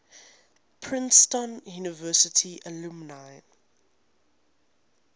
princeton university alumni